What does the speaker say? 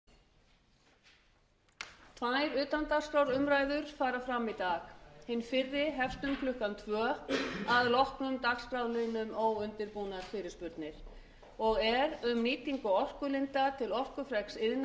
tvær utandagskrárumræður fara fram í dag hin fyrri hefst um klukkan tvö að loknum dagskrárliðnum óundirbúnar fyrirspurnir og er um nýtingu orkulinda til orkufreks iðnaðar